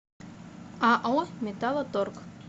ао металлоторг